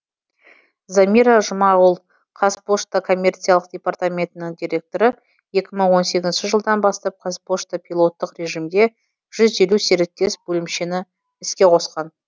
замира жұмағұл қазпошта коммерциялық департаментінің директоры екі мың он сегізінші жылдан бастап қазпошта пилоттық режимде жүз елу серіктес бөлімшені іске қосқан